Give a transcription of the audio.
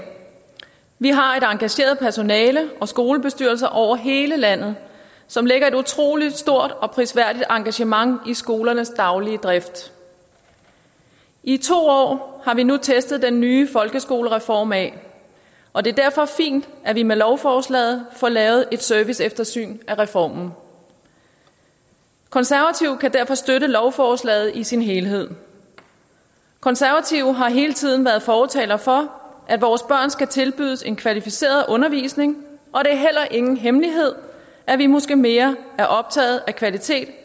vi har et engageret personale og skolebestyrelser over hele landet som lægger et utrolig stort og prisværdigt engagement i skolernes daglige drift i to år har vi nu testet den nye folkeskolereform af og det er derfor fint at vi med lovforslaget får lavet et serviceeftersyn af reformen konservative kan derfor støtte lovforslaget i sin helhed konservative har hele tiden været fortalere for at vores børn skal tilbydes en kvalificeret undervisning og det er heller ingen hemmelighed at vi måske mere er optagede af kvalitet